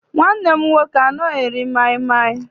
Nwanne m nwoke anaghị eri maịmaị.